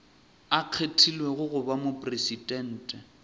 a kgethilwego go ba mopresidente